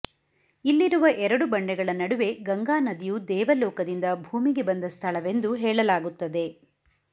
ಇಲ್ಲಿರುವ ಎರಡು ಬಂಡೆಗಳ ನಡುವೆ ಗಂಗಾನದಿಯು ದೇವಲೋಕದಿಂದ ಭೂಮಿಗೆ ಬಂದ ಸ್ಥಳವೆಂದು ಹೇಳಲಾಗುತ್ತದೆ